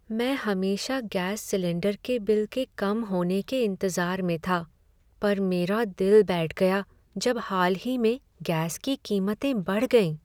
मैं हमेशा gas cylinder के बिल के कम होने के इंतजार में था पर मेरा दिल बैठ गया जब हाल ही में गैस की कीमतें बढ़ गईं।